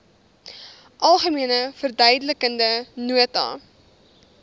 algemene verduidelikende nota